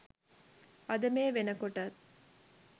අද මේ වෙනකොටත්